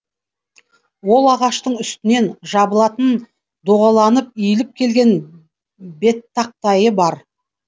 ол ағаштың үстінен жабылатын доғаланып иіліп келген беттақтайы бар